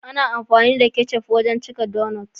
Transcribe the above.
Ana amfani da ketchup wajan cika dunut.